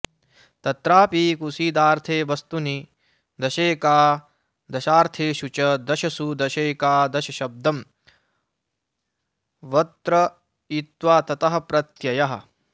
तत्रापि कुसीदार्थे वस्तुनि दशैकादशार्थेषु च दशसु दशैकादशशब्दं वत्र्तयित्वा ततः प्रत्ययः